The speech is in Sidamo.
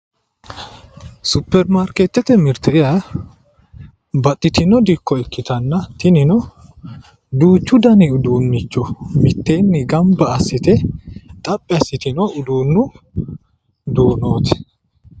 Supirimaarketete mirte yaa baxxitino dikko ikkittanna tininno duuchu danni uduunicho mitteenni gamba assite xaphi assitino uduunu duunoti